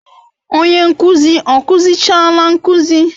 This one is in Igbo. Onye nkuzi ọ kụzichaala nkuzi?